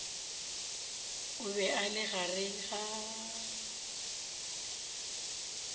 o be a le gare